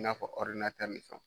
I n'a fɔ ɔridinatɛri ni fɛnw